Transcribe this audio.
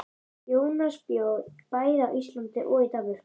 Jónas bjó bæði á Íslandi og í Danmörku.